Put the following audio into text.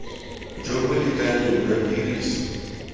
jo bo lekaneng jwa tiriso